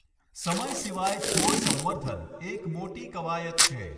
સમય સિવાય, છોડ સંવર્ધન એક મોટી કવાયત છે.